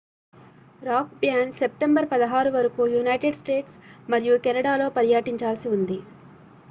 rock band September 16 వరకు United States మరియు కెనడాలో పర్యటించాల్సి ఉంది